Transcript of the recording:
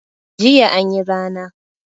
Jiya anyi rana